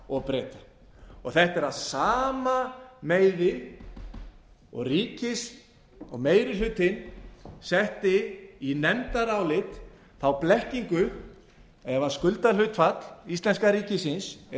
og breta þetta er af sama meiði og meiri hlutinn setti í nefndarálit þá blekkingu að ef skuldahlutfall íslenska ríkisins eða